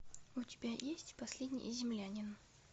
у тебя есть последний землянин